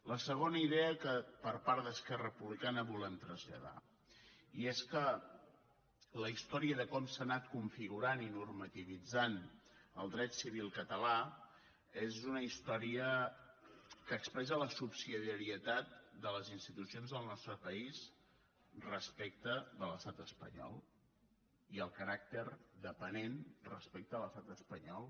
la segona idea que per part d’esquerra republicana volem traslladar i és que la història de com s’ha anat configurant i normativitzant el dret civil català és una història que expressa la subsidiarietat de les institucions del nostre país respecte de l’estat espanyol i el caràcter depenent respecte de l’estat espanyol